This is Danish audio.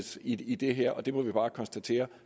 i det her og vi må bare konstatere